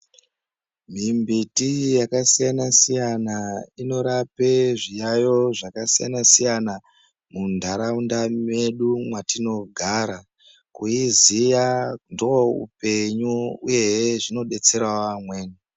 Mimbiti yakasiyana-siyana inorape zviyayo zvakasiyana siyana muntaraunda medu mwatinogara. Kuiziya ndoupenyu uyehe zvinobetserawo amweni.